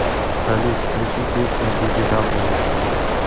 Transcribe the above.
салют включи песню бибидаблю